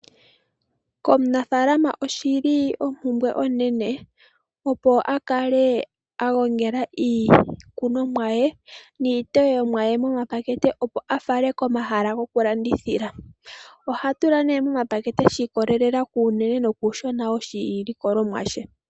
Komunafalama oshili ompumbwe onene, opo akale agongela iikunomwa ye niiteyomwa ye mo mapakete opo a fale komahala goku landithila. Oha tula nee mo mapakete sha ikolelela kuunene nokuushona woshilikolomwa she.